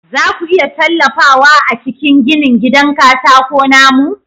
Za ku iya tallafawa a cikin ginin gidan katako na mu?